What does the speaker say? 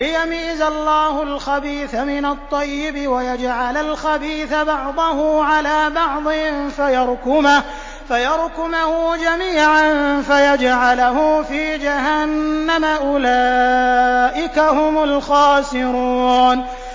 لِيَمِيزَ اللَّهُ الْخَبِيثَ مِنَ الطَّيِّبِ وَيَجْعَلَ الْخَبِيثَ بَعْضَهُ عَلَىٰ بَعْضٍ فَيَرْكُمَهُ جَمِيعًا فَيَجْعَلَهُ فِي جَهَنَّمَ ۚ أُولَٰئِكَ هُمُ الْخَاسِرُونَ